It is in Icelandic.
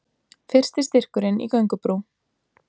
Fyrsti styrkurinn í göngubrú